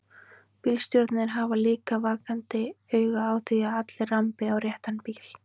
Bílstjórarnir hafa líka vakandi auga á því að allir rambi á réttan bíl.